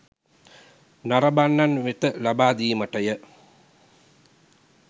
නරඹන්නන් වෙත ලබා දීමටය